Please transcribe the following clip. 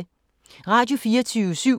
Radio24syv